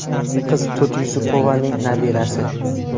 Qiz To‘ti Yusupovaning nabirasi.